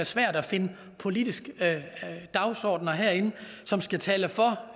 svært finde politiske dagsordener herinde som skal tale for